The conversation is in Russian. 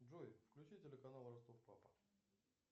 джой включи телеканал ростов папа